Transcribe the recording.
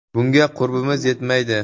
Bunga qurbimiz yetmaydi.